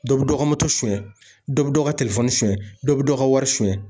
Dɔ bɛ dɔ ka moto suɲɛ, dɔ bɛ dɔ ka telefɔni suɲɛ, dɔ bɛ dɔ ka wari suɲɛ.